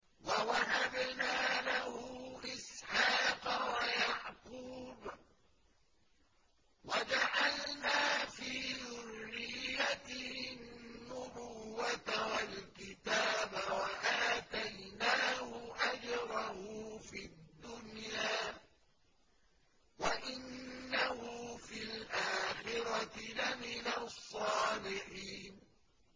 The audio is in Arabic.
وَوَهَبْنَا لَهُ إِسْحَاقَ وَيَعْقُوبَ وَجَعَلْنَا فِي ذُرِّيَّتِهِ النُّبُوَّةَ وَالْكِتَابَ وَآتَيْنَاهُ أَجْرَهُ فِي الدُّنْيَا ۖ وَإِنَّهُ فِي الْآخِرَةِ لَمِنَ الصَّالِحِينَ